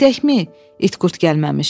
Gedəkmi, it-qurt gəlməmiş?